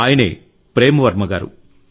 ఆయనే ప్రేమ్ వర్మ గారు